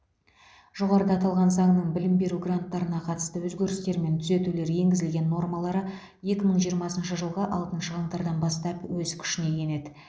жоғарыда аталған заңның білім беру гранттарына қатысты өзгерістер мен түзетулер енгізілген нормалары екі мың жиырмасыншы жылғы алтыншы қаңтардан бастап өз күшіне енеді